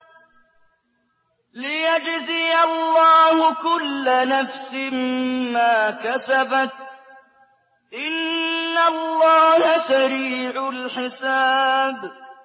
لِيَجْزِيَ اللَّهُ كُلَّ نَفْسٍ مَّا كَسَبَتْ ۚ إِنَّ اللَّهَ سَرِيعُ الْحِسَابِ